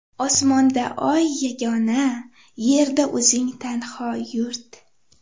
Osmonda oy yagona, Yerda o‘zing tanho yurt.